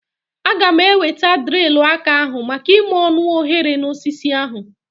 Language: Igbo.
Aga m eweta drilu aka ahu maka ime ọnụ oghere na osisi ahu